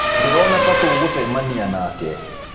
Ndirona ta tũgũcemania nake.